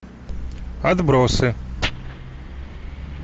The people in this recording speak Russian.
отбросы